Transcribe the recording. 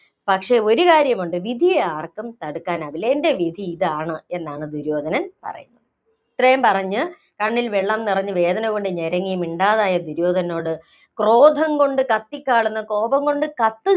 പക്ഷേ, ഒരു കാര്യമുണ്ട്. വിധിയെ ആര്‍ക്കും തടുക്കാനാവില്ല. എന്‍റെ വിധിയിതാണ് എന്നാണ് ദുര്യോധനൻ പറയുന്നത്. ഇത്രയും പറഞ്ഞ് കണ്ണില്‍ വെള്ളം നിറഞ്ഞ് വേദനകൊണ്ട് ഞരങ്ങി മിണ്ടാതായ ദുര്യോധനനോട് ക്രോധംകൊണ്ട് കത്തിക്കാളുന്ന, കോപംകൊണ്ട് കത്തി